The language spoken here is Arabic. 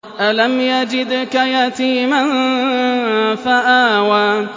أَلَمْ يَجِدْكَ يَتِيمًا فَآوَىٰ